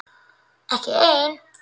Ekki ein?